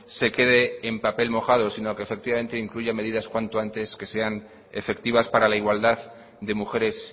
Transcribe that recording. se quedé en papel mojado si no que efectivamente incluya medidas cuanto antes que sean efectivas para la igualdad de mujeres